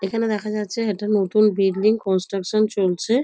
এখানে দেখা যাচ্ছে একটা নতুন বিল্ডিং কন্সট্রাকশন চলছে।